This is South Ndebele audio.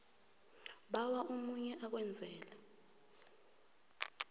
bawa omunye akwenzele